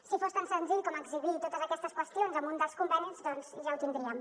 si fos tan senzill com exhibir totes aquestes qüestions en un dels convenis doncs ja ho tindríem